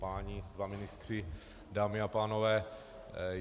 Páni dva ministři, dámy a pánové.